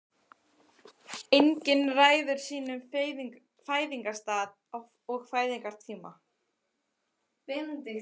Enginn ræður sínum fæðingarstað og fæðingartíma.